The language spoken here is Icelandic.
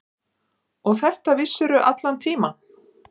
Og þetta vissirðu allan tímann.